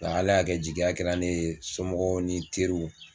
Nka ALA y'a kɛ jigiya kɛra ne ye somɔgɔw ni teriw.